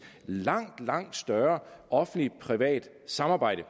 langt langt større offentligt privat samarbejde